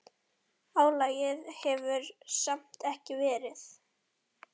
Álagið hefur samt verið mikið.